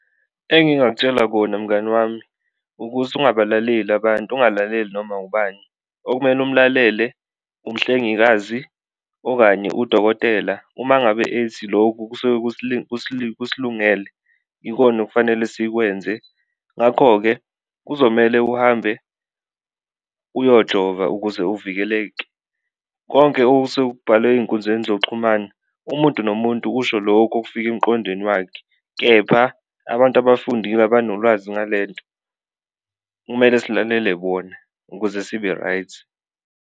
Engingakutshela kona mngani wami ukuthi, ukungabalaleli abantu ungalaleli noma ubani, okumele umlalele umhlengikazi okanye udokotela uma ngabe ethi loku kusuke kusilungele ikona okufanele sikwenze, ngakho-ke kuzomele uhambe uyojova ukuze uvikeleke. Konke okusuke kubhalwe ey'nkundleni zoxhumana umuntu nomuntu usho lokhu okufika emqondweni wakhe kepha abantu abafundile abanolwazi ngale nto kumele silalele bona ukuze sibe-right.